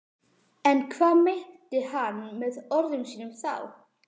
En hvað meinti hann með orðum sínum þá?